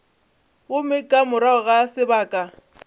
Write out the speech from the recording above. gomme ka morago ga sebaka